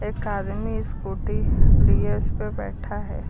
एक आदमी स्कूटी लिए उसपे बैठा है।